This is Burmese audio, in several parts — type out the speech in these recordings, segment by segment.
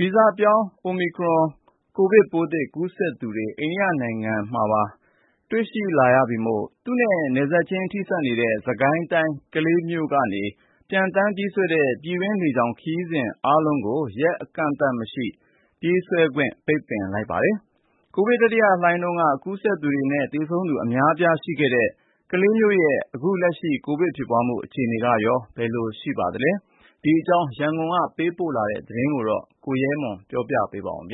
ဗီဇပြောင်း Omicron ကိုဗစ်ပိုးသစ် ကူးစက်သူတွေ အိန္ဒိယနိုင်ငံမှာပါ ရှိနေပြီမို့ သူနဲ့ နယ်နိမိတ်ချင်း ထိစပ်နေတဲ့ စစ်ကိုင်းတိုင်း ကလေးမြို့ကနေ ပျံသန်းပြေးဆွဲတဲ့ ပြည်တွင်းလေကြောင်း ခရီးစဉ်တွေ အားလုံးကို ရက်အကန့်အသတ်မရှိ ပြေးဆွဲခွင့် ပိတ်ထားပါတယ်။ ကိုဗစ်တတိယလှိုင်းတုန်းက ကူးစက်သူနဲ့ သေဆုံးသူ အများအပြားရှိခဲ့တဲ့ ကလေးမြို့ရဲ့ အခုလက်ရှိ ကိုဗစ်ဖြစ်ပွားမှု အခြေအနေကရော ဘယ်လိုရှိနေပါသလဲ။ ဒီအကြောင်း ရန်ကုန်ကလာတဲ့သတင်းကို ကိုရဲမွန် ပြောပြမှာပါ။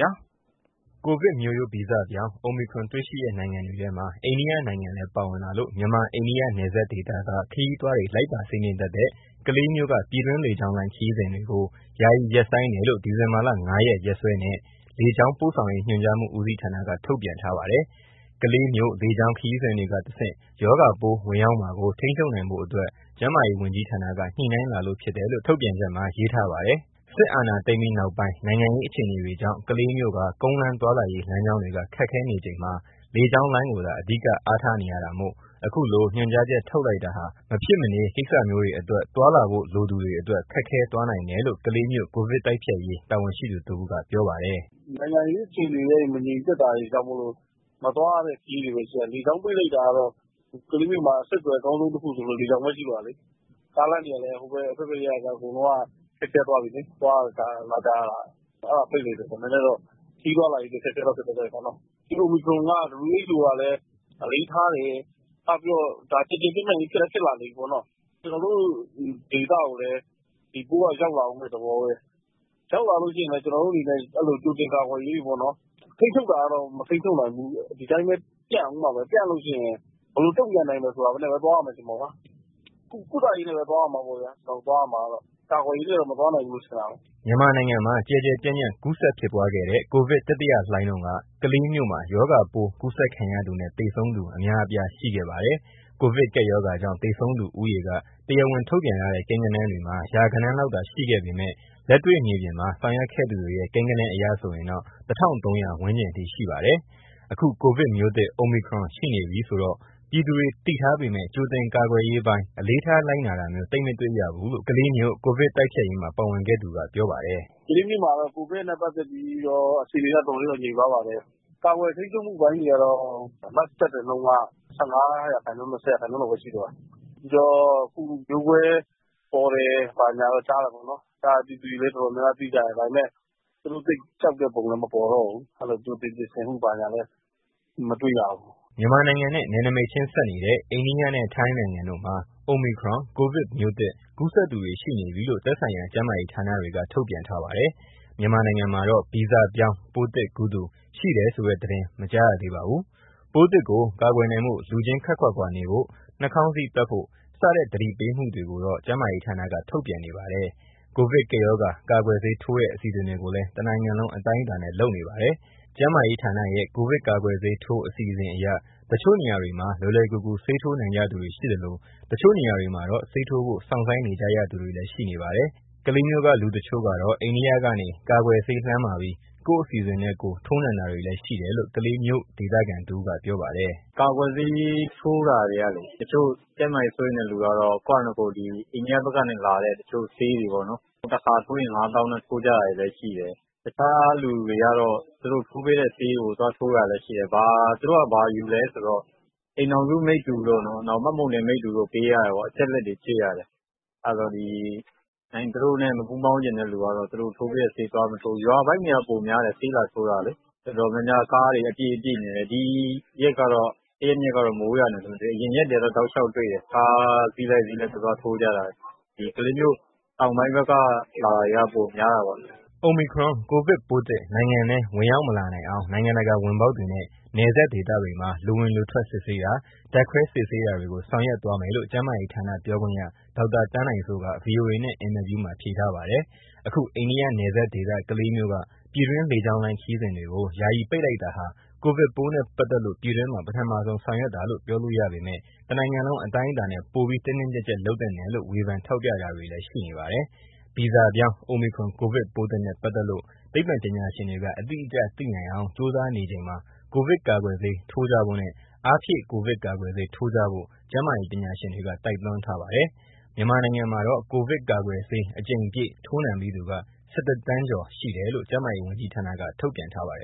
ကိုဗစ်မျိုးရိုးဗီဇပြောင်း Omicron တွေ့ရှိတဲ့ နိုင်ငံတွေထဲမှာ အိန္ဒိယနိုင်ငံလည်း ပါဝင်လာလို့ မြန်မာ-အိန္ဒိယ နယ်စပ်ဒေသက ခရီးသွားတွေ လိုက်ပါစီးနင်းတတ်တဲ့ ကလေးမြို့က ပြည်တွင်းလေကြောင်းလိုင်း ခရီးစဉ်တွေကို ယာယီရပ်ဆိုင်းတယ်လို့ ဒီဇင်ဘာ ၅ ရက် ရက်စွဲနဲ့ လေကြောင်းပို့ဆောင်ရေး ညွှန်ကြားမှု ဦးစီးဌာနက ထုတ်ပြန်ထားပါတယ်။ ကလေးမြို့ လေကြောင်းခရီးစဉ်တွေကနေ တဆင့် ရောဂါပိုး ဝင်ရောက်မှာကို ထိန်းချုပ်နိုင်ဖို့အတွက် ကျန်းမာရေးဝန်ကြီးဌာနက ညှိနှိုင်းလာလို့ ဖြစ်တယ်လို့ ထုတ်ပြန်ချက်မှာ ရေးထားပါတယ်။ စစ်အာဏာသိမ်းပြီးနောက်ပိုင်း နိုင်ငံရေး အခြေအနေတွေကြောင့် ကလေးမြို့က ကုန်းလမ်းသွားလာရေး လမ်းကြောင်းတွေက ခက်ခဲနေချိန် လေကြောင်းလိုင်းကိုသာ အဓိက အားထားနေရတာမို့ အခုလို ညွှန်ကြားချက် ထုတ်လိုက်တာဟာ မဖြစ်မနေ ကိစ္စမျိုးတွေအတွက် သွားလာဖို့ လိုသူတွေအတွက် ခက်ခဲသွားနိုင်တယ်လို့ ကလေးမြို့ ကိုဗစ်တိုက်ဖျက်ရေး တာဝန်ရှိသူတဦးက ပြောပါတယ်။ "နိုင်ငံရေးအခြေအနေတွေလည်း မငြိမ်သက်တာကြောင့်မို့လို့ မသွားရတဲ့ ခရီးတွေလည်း ရှိတယ်။ လေကြောင်းပိတ်လိုက်တာကတော့ ကလေးမြို့မှာ အဆက်အသွယ် အကောင်းဆုံးဆိုလို့ လေကြောင်းပဲ ရှိတော့တာလေ။ ကားလမ်းတွေကလည်း ဆက်သွယ်ရေးက သွားလာရတာ ခက်ခဲသွားပြီလေ။ အဲဒါကို ပိတ်လိုက်တာကတော့ ခရီးသွားလာရေးကတော့ နည်းနည်းတော့ ခက်ခဲသွားတာပေါ့။ Omicron က WHO ကလည်း အလေးထားတယ်။ နောက်ပြီးတော့ ကျယ်ကျယ်ပြန့်ပြန့်လည်း ဖြစ်လည်း ဖြစ်လာနေပြီ။ ကျနော်တို့ဒေသကိုလည်း ဒီပိုးက ရောက်လာဦးမယ့် သဘောပဲ။ ရောက်လာလို့ရှိရင်လည်း ကျနော်တို့အနေနဲ့ ကြိုတင်ကာကွယ်ရေးတွေပေါ့နော်၊ ထိန်းချုပ်တာတော့ မထိန်းချုပ်နိုင်ဘူး၊ ဒီတိုင်းပဲ ပြန့်ဦးမှာပဲ။ ပြန့်လို့ရှိရင် ဘယ်လိုတုံ့ပြန်မယ် ဆိုတာနဲ့ပဲ သွားရမယ်ထင်တာပေါ့နော်။ ကုသရေးနဲ့ပဲ သွားရမှာပေါ့ဗျာ၊ ကာကွယ်ရေးနဲ့တော့ မသွားနိုင်ဘူးထင်တာပဲ။" မြန်မာနိုင်ငံမှာ ကျယ်ကျယ်ပြန့်ပြန့် ကူးစက်ဖြစ်ပွားခဲ့တဲ့ ကိုဗစ်တတိယလှိုင်းတုန်းက ကလေးမြို့မှာ ရောဂါပိုး ကူးစက်ခံရသူနဲ့ သေဆုံးသူ အများအပြား ရှိခဲ့ပါတယ်။ ကိုဗစ်ကပ်ရောဂါကြောင့် သေဆုံးသူဦးရေက တရားဝင်ထုတ်ပြန်ထားတဲ့ ကိန်းဂဏန်းတွေမှာ ရာဂဏန်းလောက်သာ ရှိခဲ့ပေမယ့် လက်တွေ့မြေပြင်မှာ ဆောင်ရွက်ခဲ့သူတွေရဲ့ ကိန်းဂဏန်းအရ ဆိုရင်တော့ ၁,၃၀၀ ဝန်းကျင်ထိ ရှိပါတယ်။ အခု ကိုဗစ်မျိုးသစ် Omicron ရှိနေပြီဆိုတာ ပြည်သူတွေ သိထားပေမယ့် ကြိုတင်ကာကွယ်ရေးပိုင်း အလေးထား လိုက်နာတာမျိုး သိပ်မတေ့ွရဘူးလို့ ကလေးမြို့ ကိုဗစ်တိုက်ဖျက်ရေးမှာ ပါဝင်ခဲ့သူက ပြောပါတယ်။ "ကလေးမြို့မှာ ကိုဗစ်နဲ့ ပတ်သက်ပြီးတော့ အခြေအနေက တော်တော်လေးတော့ ငြိမ်သွားပါတယ်။ ကာကွယ်ထိန်းချုပ်မှု အပိုင်းတွေကတော့ Mask တပ်တဲ့နှုန်းက ၁၅ ရာခိုင်နှုန်း၊ ၂၀ ရာခိုင်နှုန်းလောက်ပဲ ရှိတော့တာ။ ပြီးတော့ အခုမျိုးကွဲပေါ်တယ်၊ ဘာညာတော့ ကြားတာပေါ့နော်။ အဲဒါကို ပြည်သူတွေအနေနဲ့လည်း တော်တော်များများ သိကြတယ်။ ဒါပေမယ့် သူတို့ သိပ်ကြောက်တဲ့ပုံလည်း မပေါ်တော့ဘူး။ အဲလို ကြိုတင်ပြင်ဆင်မှု ဘာညာလည်း မတွေ့ရဘူး။" မြန်မာနိုင်ငံနဲ့ နယ်နိမိတ်ချင်းဆက်နေတဲ့ အိန္ဒိယနဲ့ ထိုင်းနိုင်ငံတို့မှာ Omicron ကိုဗစ်မျိုးသစ် ကူးစက်သူတွေ ရှိနေပြီလို့ သက်ဆိုင်ရာ ကျန်းမာရေးဌာနတွေက ထုတ်ပြန်ထားပါတယ်။ မြန်မာနိုင်ငံမှာတော့ ဗီဇပြောင်းပိုးသစ်ကူးသူ ရှိတယ်ဆိုတဲ့သတင်း မကြားရသေးပါဘူး။ ပိုးသစ်ကို ကာကွယ်နိုင်ဖို့ လူချင်းခပ်ခွာခွာနေဖို့၊ နှာခေါင်စည်းတပ်ဖို့ စတဲ့ သတိပေးမှုတွေကိုတော့ ကျန်းမာရေးဌာနက ထုတ်ပြန်နေပါတယ်။ ကိုဗစ်ကပ်ရောဂါ ကာကွယ်ဆေးထိုးတဲ့ အစီအစဉ်တွေကိုလည်း တနိုင်ငံလုံး အတိုင်းအတာနဲ့ လုပ်နေပါတယ်။ ကျန်းမာရေးဌာနရဲ့ ကိုဗစ်ကာကွယ်ဆေးထိုး အစီအစဉ်အရ တချို့နေရာတွေမှာ လွယ်လွယ်ကူကူ ဆေးထိုးနိုင်ကြသူတွေရှိသလို တချို့နေရာတွေမှာတော့ ဆေးထိုးဖို့ စောင့်ဆိုင်းနေကြရသူတွေလည်း ရှိနေပါတယ်။ ကလေးမြို့မှာနေထိုင်သူ တချို့ကတော့ အိန္ဒိယကနေ ကာကွယ်ဆေးလှမ်းမှာပြီး ကိုယ့်အစီအစဉ်နဲ့ကိုယ် ထိုးနှံတာတွေလည်း ရှိတယ်လို့ ကလေးမြို့ ဒေသခံတဦးက ပြောပါတယ်။ "ကာကွယ်ဆေးထိုးတာတွေက တချို့ ကျန်းမာရေး စိုးရိမ်တဲ့လူကတော့ ကိုယ့်ဟာနဲ့ကိုယ် အိန္ဒိယဘက်ကနေလာတဲ့ တချို့ဆေးတွေပေါ့နော်၊ တခါထိုးရင် ၅၀,၀၀၀ နဲ့ ထိုးကြတာတွေလည်း ရှိတယ်။ တခြားလူတွေကတော့ သူတို့ထိုးပေးတဲ့ဆေးကို သွားထိုးတာတွေလည်း ရှိတယ်။ သူတို့က ဘာယူလဲဆိုတော့ အိမ်ထောင်စုမိတ္တူတို့၊ မှတ်ပုံတင်မိတ္တူတို့ ပေးရတယ်ပေါ့။ အချက်အလက်တွေ ပေးရတယ်။ အဲတော့ သူတို့နဲ့ မပူးပေါင်းချင်တဲ့လူကတော့ သူတို့ ကိုဗစ်ဆေးတွေကို သွားမထိုးဘူး။ ဆေးလာထိုးကြတာက ရွာပိုင်းတွေက ပိုများတယ်။ တော်တော်များများက ကားတွေအပြည့်နဲ့ လာကြတယ်။ ပြီးခဲ့တဲ့ ရက်တွေကတော့ မိုးရွာနေလို့၊ အဲဒီမတိုင်ခင် အရင်ရက်တွေကတော့ ကားအစီးလိုက် သွားထိုးကြတာတွေ တွေ့တယ်။ ကလေးမြို့ တောင်ပိုင်းဘက်က လာတာတွေက ပိုများတာပေါ့။" Omicron ကိုဗစ်ပိုးသစ် နိုင်ငံထဲ ဝင်ရောက်မလာနိုင်အောင် နိုင်ငံတကာ ဝင်ပေါက်တွေနဲ့ နယ်စပ်ဒေသတွေမှာ လူဝင်လူထွက် စစ်ဆေးတာ၊ ဓာတ်ခွဲစစ်ဆေးတာတွေကို ဆောင်ရွက်သွားမယ်လို့ ကျန်းမာရေးဌာန ပြောခွင့်ရ ဒေါက်တာသန်းနိုင်စိုးက ဗွီအိုအေနဲ့ အင်တာဗျူးမှာ ဖြေထားပါတယ်။ အခု အိန္ဒိယနယ်စပ်ဒေသ ကလေးမြို့က ပြည်တွင်းလေကြောင်း ခရီးစဉ်တွေကို ယာယီပိတ်လိုက်တာဟာ ကိုဗစ်ပိုးသစ်နဲ့ပတ်သက်လို့ ပြည်တွင်းမှာ ပထမဆုံး ဆောင်ရွက်တာလို့ ပြောလို့ရပေမယ့် တနိုင်ငံလုံး အတိုင်းအတာနဲ့ ပိုပြီး တင်းတင်းကျပ်ကျပ် လုပ်သင့်တယ်လို့ ဝေဖန်ထောက်ပြတာတွေလည်း ရှိနေပါတယ်။ ဗီဇပြောင်း Omicron ကိုဗစ်ပိုးသစ်နဲ့ ပတ်သက်လို့ သိပ္ပံပညာရှင်တွေက အတိအကျသိနိုင်အောင် ကြိုးစားနေချိန်မှာ ကိုဗစ်ကာကွယ်ဆေး ထိုးကြဖို့နဲ့ အားဖြည့် ကိုဗစ်ကာကွယ်ဆေး ထိုးကြဖို့ ကျန်းမာရေး ပညာရှင်တွေက တိုက်တွန်းထားပါတယ်။ မြန်မာနိုင်ငံမှာတော့ ကိုဗစ်ကာကွယ်ဆေး အကြိမ်ပြည့် ထိုးနှံပြီးသူ ၁၁ သန်းကျော် ရှိတယ်လို့ ကျန်းမာရေးဝန်ကြီးဌာနက ထုတ်ပြန်ထားပါတယ်